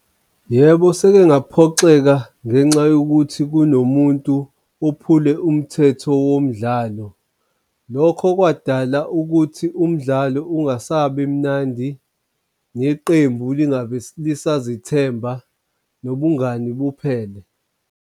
Yebo, seke ngaphoxeka ngenxa yokuthi kunomuntu ophule umthetho womdlalo. Lokho kwadala ukuthi umdlalo ungasabi mnandi neqembu lingabi lisazithemba nobungani buphele.